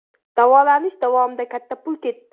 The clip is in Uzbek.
Davolanish davomida katta pul ketdi.